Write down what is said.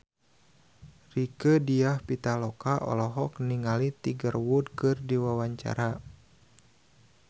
Rieke Diah Pitaloka olohok ningali Tiger Wood keur diwawancara